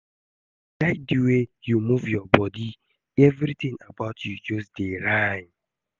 I like the way you move your body, everything about you just dey rhyme